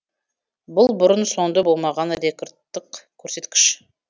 бұл бұрын соңды болмаған рекордтық көрсеткіш